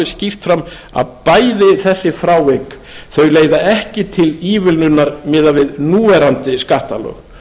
alveg skýrt fram að bæði þessi frávik leiða ekki til ívilnunar miðað við núverandi skattalög